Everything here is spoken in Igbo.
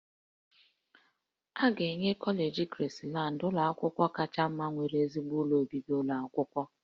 A ga-enye kọleji Krisland ụlọ akwụkwọ kacha mma nwere ezigbo ụlọ obibi ụlọ akwụkwọ